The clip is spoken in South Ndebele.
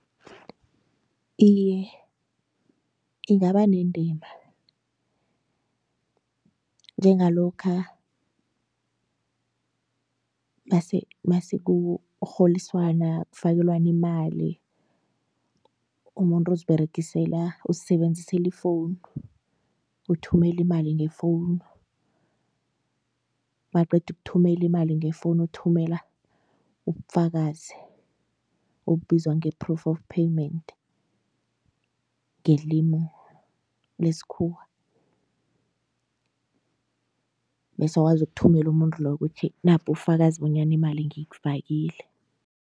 Iye, ingaba nendima njengalokha masekurholiswana kufakelwana imali, umuntu uziberegisela uzisebenzisela ifowunu uthumela imali ngefowunu, maqedukuthumela imali ngefowunu uthumela ubufakazi obubizwa nge-proof of payment ngelimu lesikhuwa bese wazokuthumela umuntu loyo ukuthi napubufakazi bonyana imali ngikfakile.